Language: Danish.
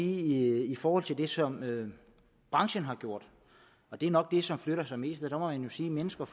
i forhold til det som branchen har gjort og det er nok det som flytter sig mest sige at mennesker